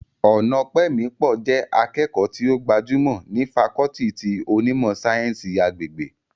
Ọnaọpẹmipọ jẹ́ akẹ́kọ̀ọ́ tí ó gbajúmọ̀ ní fakọọti ti onímọ̀ sáyẹ́ǹsì agbègbè